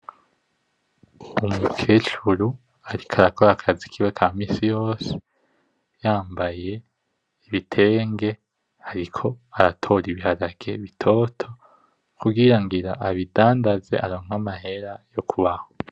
Umukecuru ariko arakora akazi kiwe ka misi yose, yambaye ibitenge ariko aratora ibiharage bitoto kugira ngira abidandaze aronke amahera yo kubaho.